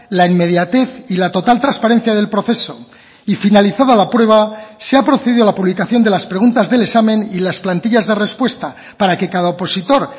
la inmediatez y la total transparencia del proceso y finalizada la prueba se ha procedido a la publicación de las preguntas del examen y las plantillas de respuesta para que cada opositor